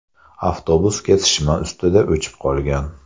Avtobus kesishma ustida o‘chib qolgan.